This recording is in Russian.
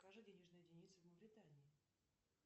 покажи денежные единицы в мавритании